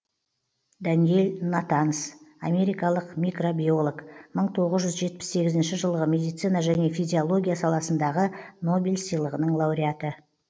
даниел натанс америкалық микробиолог мың тоғыз жүз жетпіс сегізінші жылғы медицина және физиология саласындағы нобель сыйлығының лауреаты